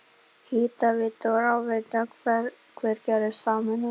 Hitaveita og rafveita Hveragerðis sameinaðar.